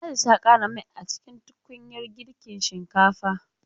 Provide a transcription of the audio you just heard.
Ladi ta ƙara mai a cikin tukunyar girkin shinkafa